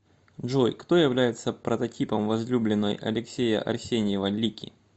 джой кто является прототипом возлюбленной алексея арсеньева лики